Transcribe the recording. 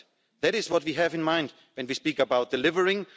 That is what we have in mind when we speak about delivering.